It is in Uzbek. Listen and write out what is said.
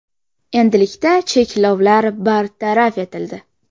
Endilikda cheklovlar bartaraf etildi.